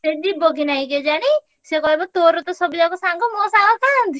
ସେ ଯିବ କି ନାଇଁ କେଜାଣି ସିଏ କହିବ ତୋର ତ ସବୁଯାକ ସାଙ୍ଗ ମୋର ସାଙ୍ଗ କାହାନ୍ତି